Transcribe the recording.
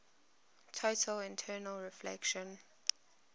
total internal reflection